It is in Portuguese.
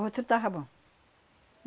O outro estava bom.